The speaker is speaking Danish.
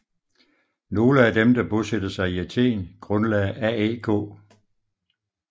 Nogle af dem der bosatte sig i Athen grundlagde AEK